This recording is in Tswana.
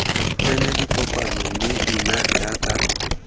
tsena dikopano mme nna jaaka